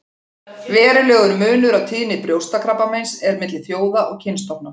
Verulegur munur á tíðni brjóstakrabbameins er milli þjóða og kynstofna.